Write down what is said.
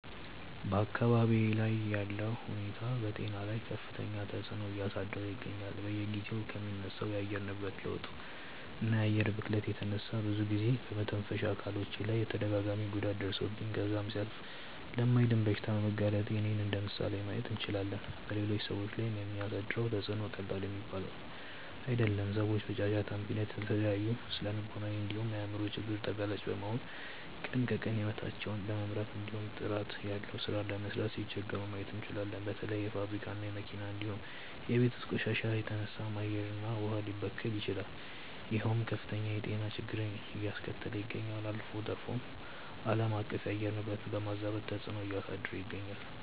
በአካባብዬ ላይ ያለው ሁኔታ በጤና ላይ ከፍተኛ ተፅዕኖ እያሳደረ ይገኛል። በየጊዜው ከሚነሳው የአየር ንብረት ለውጥ እና የአየር ብክለት የተነሳ ብዙ ጊዜ በመተንፈሻ አካሎቼ ላይ ተደጋጋሚ ጉዳት ደርሶብኝ ከዛም ሲያልፍ ለማይድን በሽታ በመጋለጤ እኔን እንደምሳሌ ማየት እንችላለን። በሌሎች ሰዎች ላይም የሚያሳድረው ተፅዕኖ ቀላል የሚባል አይደለም። ሰዎች በጫጫታ ምክንያት ለተለያዩ ስነልቦናዊ እንዲሁም የአይምሮ ችግር ተጋላጭ በመሆን ቀን ከቀን ሂወታቸውን ለመምራት እንዲሁም ጥራት ያለው ሥራ ለመስራት ሲቸገሩ ማየት እንችላለን። በተለያዩ የፋብሪካ እና የመኪና እንዲሁም የቤት ውስጥ ቆሻሻ የተነሳም አየር እና ውሃ ሊበከሉ ይችላሉ ይሄውም ከፍተኛ የጤና ችግርን አያስከተለ ይገኛል። አልፎ ተርፎም አለማቀፍ የአየር ንብረትን በማዛባት ተፅዕኖ እያሳደረ ይገኛል።